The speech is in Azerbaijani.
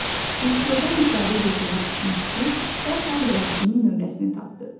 Rejissordan müsahibə götürmüş müxbir dərhal yazıçının nömrəsini tapdı.